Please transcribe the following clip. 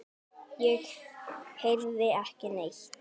Ég heyrði ekki neitt.